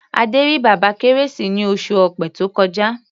Adé rí Bàbá Kérésì ní oṣù Ọ̀pẹ tó kọjá.